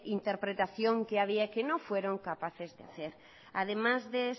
interpretación que había que no fueron capaces de hacer además de